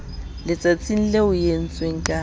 letsatsing leo e entsweng ka